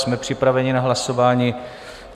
Jsme připraveni na hlasování.